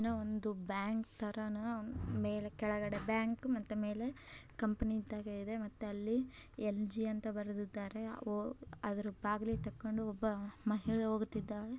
ಇದು ಒಂದು ಬ್ಯಾಂಕ್ ತರಾನೇ ಕೆಳಗೆ ಒಂದು ಬ್ಯಾಂಕು ಮತ್ತೆ ಮೇಲೆ ಕಂಪನಿ ಇದ್ದಾಗೆ ಇದೆ ಮತ್ತೆ ಅಲ್ಲಿಎಲ್ ಜಿ ಅಂತ ಬರ್ದಿದೆ ಅದರ ಬಾಗಿಲು ತಕ್ಕೊಂಡು ಒಬ್ಬ ಮಹಿಳೆ ಹೋಗುತ್ತಿದ್ದಾಳೆ.